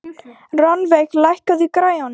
Rannveig, lækkaðu í græjunum.